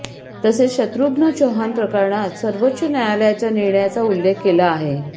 तसेच शत्रुघ्न चौहान प्रकरणात सर्वोच्च न्यायालयाच्या निर्णयाचा उल्लेख केला आहे